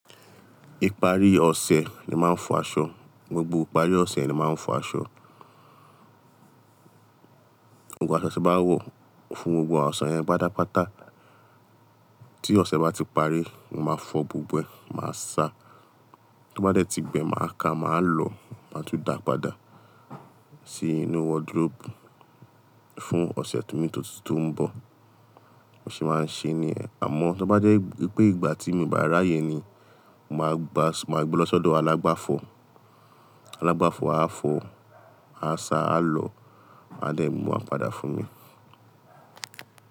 Ìparí ọ̀sẹ̀ ni màá ń fọ aṣọ, gbogbo ìparí ọ̀sẹ̀ ni màá ń fọ aṣọ. Gbogbo aṣọ tí mo bá wọ̀, fún ohun oṣe yẹn pátápátá tí ọ̀sẹ̀ bá ti parí, mo máa fọ gbogbo ẹ̀, màá sa, tó bá dẹ́ ti gbẹ, màá ká, màá lọ, màá tún dàá padà sí inú wardrobe fún ọ̀sẹ̀ imi tó ń tun bọ̀. Bi mo ṣe máa ń ṣe ní yẹ̀n, àmọ́ tó bá jẹ́ pé ìgbà tí mi ò bá ráyè ni, màá gba, màá gbe lọ́sọ́dọ̀ alágbàfọ̀. Alágbàfọ̀ á fọ, á sa, á lọ, á dẹ̀ mú wa padà fún mi.